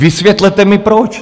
Vysvětlete mi, proč?